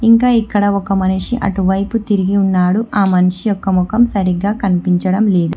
ఇంకా ఇక్కడ ఒక మనిషి అటువైపు తిరిగి ఉన్నాడు ఆ మనిషి యొక్క ముఖం సరిగా కనిపించడం లేదు.